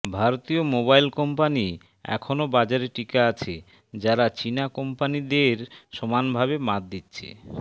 ভারতীয় mobile company এখনও বাজারে টিকে আছে যারা চীনা কোম্পানি দের সমান ভাবে মাত দিচ্ছে